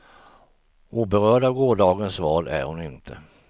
Oberörd av gårdagens val är hon inte.